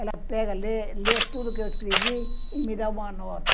Ela pega, lê, lê tudo que eu escrevi e me dá uma nota.